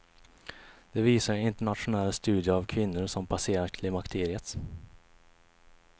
Det visar en internationell studie av kvinnor som passerat klimakteriet.